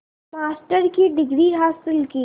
master की degree हासिल की